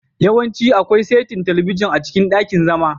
Yawanci akwai saitin talabijin a cikin ɗakin zama.